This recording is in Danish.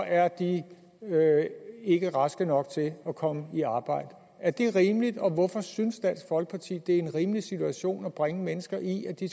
er de ikke raske nok til at komme i arbejde er det rimeligt og hvorfor synes dansk folkeparti det er en rimelig situation at bringe mennesker i at de